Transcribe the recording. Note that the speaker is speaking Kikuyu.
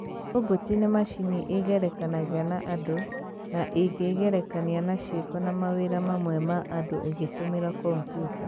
Robot nĩ macini ĩgerekanagia na andũ na ĩngĩĩgerekania na ciĩko na mawĩra mamwe ma andũ ĩgĩtũmĩra kombiuta